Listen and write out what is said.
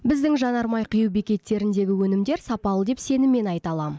біздің жанармай құю бекеттеріндегі өнімдер сапалы деп сеніммен айта алам